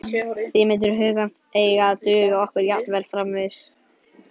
Því myndir hugans eiga að duga okkur jafnvel framvegis.